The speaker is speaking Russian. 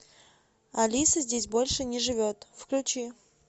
алиса здесь больше не живет включи